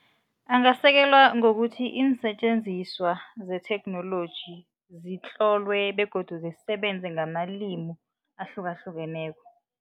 Angasekelwa ngokuthi iinsetjenziswa zetheknoloji zitlolwe begodu zisebenze ngamalimi ahlukahlukeneko.